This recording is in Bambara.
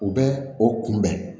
U bɛ o kunbɛn